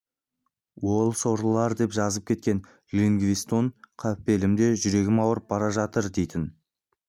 ол сорлылар деп жазып кеткен ливингстон қапелімде жүрегім ауырып бара жатыр дейтін